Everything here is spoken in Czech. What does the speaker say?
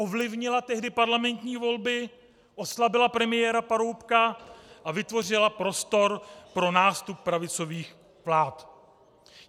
Ovlivnila tehdy parlamentní volby, oslabila premiéra Paroubka a vytvořila prostor pro nástup pravicových vlád.